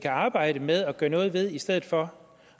arbejde med og gøre noget ved i stedet for